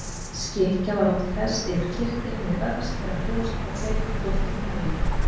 Skikkja var oft fest yfir kyrtilinn við öxl eða brjóst með tveimur kúptum nælum.